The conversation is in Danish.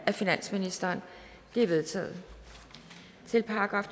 af finansministeren de er vedtaget til §